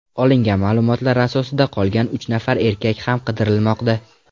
Olingan ma’lumotlar asosida qolgan uch nafar erkak ham qidirilmoqda.